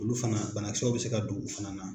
Olu fana banakisɛw bɛ se ka don u fana na.